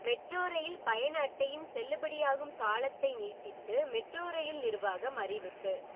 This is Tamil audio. மெட்ரோ ரயில் பயண அட்டையின் செல்லுபடியாகும் காலத்தை நீட்டித்து மெட்ரோ ரயில் நிர்வாகம் அறிவிப்பு